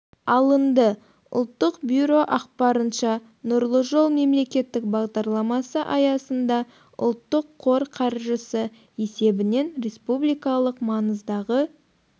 алынды ұлттық бюро ақпарынша нұрлы жол мемлекеттік бағдарламасы аясында ұлттық қор қаржысы есебінен республикалық маңыздағы